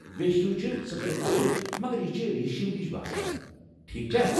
ویشٹی چھِ سترِ کپرٕچ، مگر یہِ چھِ ریٖشم ہِش باسان، ٹھیٖکھ چھا؟